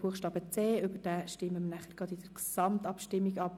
Buchstabe c stimmen wir nachher in der Gesamtabstimmung ab.